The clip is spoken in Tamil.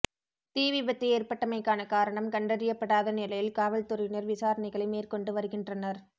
தீ விபத்து ஏற்பட்டமைக்கான காரணம் கண்டறியப்படாத நிலையில் காவல் துறையினர் விசாரணைகளை மேற்கொண்டு வருகின்றனர்